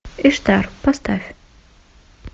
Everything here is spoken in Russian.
иштар поставь